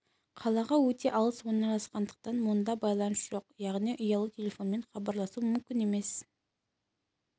қалаға өте алыс орналасқандықтан мұнда байланыс жоқ яғни ұялы телефонмен хабарласу мүмкін емес